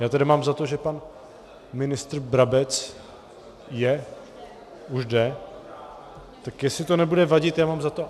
Já tedy mám za to, že pan ministr Brabec je - už jde, tak jestli to nebude vadit, já mám za to...